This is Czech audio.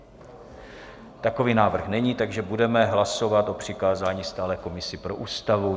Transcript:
Takový návrh není, takže budeme hlasovat o přikázání stálé komisi pro Ústavu.